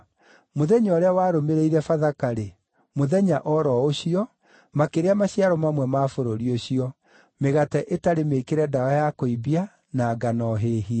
Mũthenya ũrĩa warũmĩrĩire Bathaka-rĩ, mũthenya oro ũcio, makĩrĩa maciaro mamwe ma bũrũri ũcio; mĩgate ĩtarĩ mĩĩkĩre ndawa ya kũimbia, na ngano hĩhie.